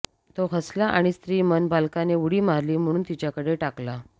तो हसला आणि स्त्री मन बालकाने उडी मारली म्हणून तिच्याकडे टाकला